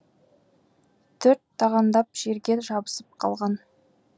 төрт тағандап жерге жабысып қалған